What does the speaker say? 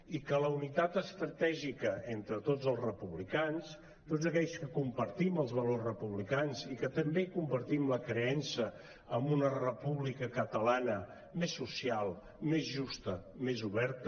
i que la unitat estratègica entre tots els republicans tots aquells que compartim els valors republicans i que també compartim la creença en una república catalana més social més justa més oberta